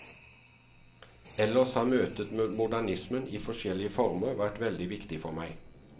Ellers har møtet med modernismen i forskjellige former vært veldig viktig for meg.